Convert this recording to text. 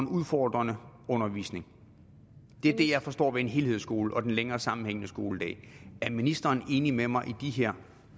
udfordrende undervisning det er det jeg forstår ved en helhedsskole og den længere sammenhængende skoledag er ministeren enig med mig i de her